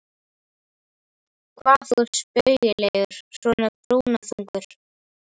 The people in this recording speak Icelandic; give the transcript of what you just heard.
Hvað þú ert spaugilegur svona brúnaþungur!